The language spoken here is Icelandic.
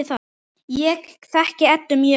Ég þekki Eddu mjög vel.